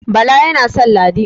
Bala yana san Ladi